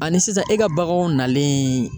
Ani sisan e ka baganw nalen